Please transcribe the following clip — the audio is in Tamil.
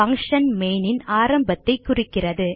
பங்ஷன் மெயின் ன் ஆரம்பத்தைக் குறிக்கிறது